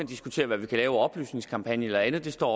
diskutere hvad man kan lave af oplysningskampagner eller andet det står